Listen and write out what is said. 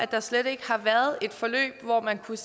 der slet ikke har været et forløb hvor man kunne